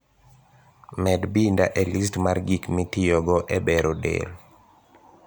Med binda e list mar gik mitiyogo e bero del